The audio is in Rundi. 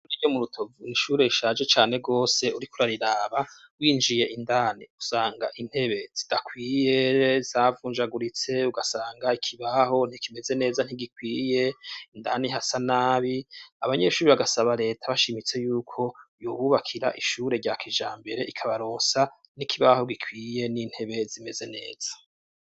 Ishure ryo mu Rutovu n'ishure rishaje cane gose uriko urariraba, winjiye indani usanga intebe zidakwiye zavunjaguritse ugasanga ikibaho ntikimeze neza, ntigikwiye, indani hasa nabi, abanyeshuri bagasaba reta bashimitse yuko yobubakira ishure rya kijambere ikabarosa n'ikibaho gikwiye n'intebe zimeze neza.